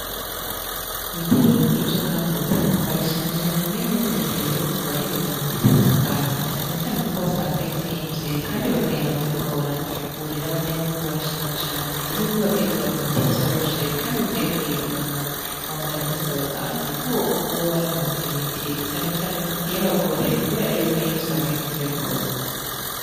Ku bitaro bikuru vyo nga murutana barashima cane ingene barete ererwa kubahereza imiti itandukanye na canecane ko wasanga yo itsimvye, kandi bakayironka bigorany uwurera abanyagihugu barashima cane yuko bagiye kuronka imiti vyoroshe, kandi bagiye kuyironka hafi handanya basaba, kandi kuba bguma babarrankpwera imiti canecanek iyo bagow gore, kubera yuko ari iusange zimvye rwose.